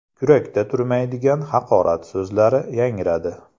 Kurakda turmaydigan haqorat so‘zlari yangradi.